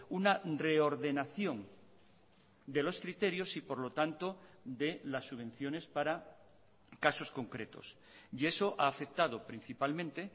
una reordenación de los criterios y por lo tanto de las subvenciones para casos concretos y eso ha afectado principalmente